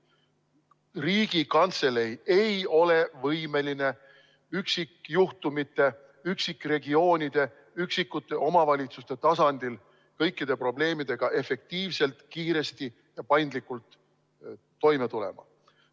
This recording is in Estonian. Riigikantselei ei ole võimeline üksikjuhtumite, üksikregioonide, üksikute omavalitsuste tasandil kõikide probleemidega efektiivselt, kiiresti ja paindlikult toime tulema.